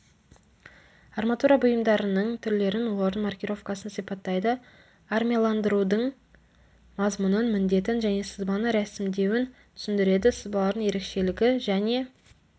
арматура бұйымдарының түрлерін олардың маркировкасын сипаттайды армияландырудың мазмұнын міндетін және сызбаны рәсімдеуін түсіндіреді сызбалардың ерекшелігі және